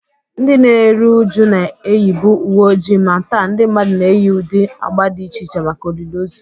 Ndị na-eru uju na-eyibu uwe ojii, ma taa ndị mmadụ na-eyi ụdị agba dị iche iche maka olili ozu